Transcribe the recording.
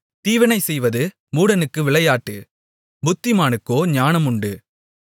தீவினைசெய்வது மூடனுக்கு விளையாட்டு புத்திமானுக்கோ ஞானம் உண்டு